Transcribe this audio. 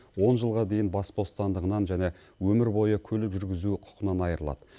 он жылға дейін бас бостандығынан және өмір бойы көлік жүргізу құқынан айырылады